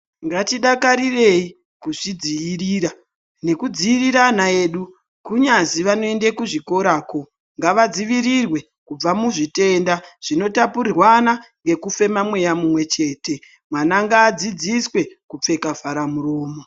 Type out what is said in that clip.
Ngatidakarise kuzvidziirira nekudziirira ana edu kunyazi vanoenda kuzvikorayo ngavadzivirirwe kubva kuzvitenda zvitapukirirwan kubva mumweya mumwe chete mwana ngadzidziswe kupfeka vhara muromo.